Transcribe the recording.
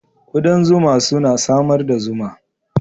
Ƙudan zuma suna samar da zuma